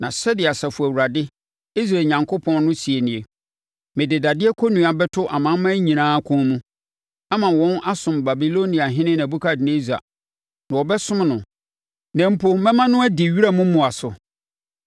Na sɛdeɛ Asafo Awurade, Israel Onyankopɔn no seɛ nie: Mede dadeɛ kɔnnua bɛto amanaman nyinaa kɔn mu, ama wɔn asom Babiloniahene Nebukadnessar, na wɔbɛsom no. Na mpo mɛma no adi wiram mmoa so.’ ”